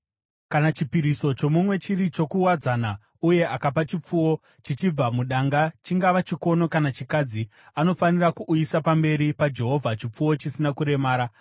“ ‘Kana chipiriso chomumwe chiri chokuwadzana, uye akapa chipfuwo, chichibva mudanga, chingava chikono kana chikadzi, anofanira kuuyisa pamberi paJehovha chipfuwo chisina kuremara.